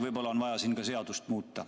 Võib-olla on vaja siin ka seadust muuta.